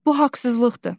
Bu haqsızlıqdır.